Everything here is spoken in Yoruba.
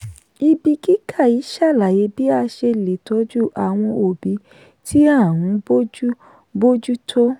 ibi kíkà yìí ṣàlàyé bí a ṣe lè tọ́jú àwọn òbí tí a ń bójú bójú tó.